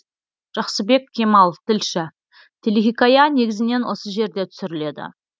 жақсыбек кемал тілші телехикая негізінен осы жерде түсіріледі